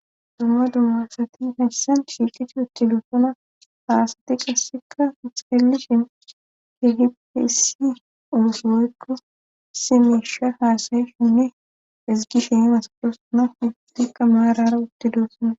Dumma dummasati hayssan shiiqichi huchi dufana haasati qasseka uxeellishin hehipesi oosoyykko simeesha haasayi shinne ezgishe masaprosana hustikka maarara wutti duossana.